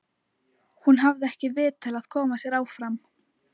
Hún hafði ekki vit til að koma sér áfram.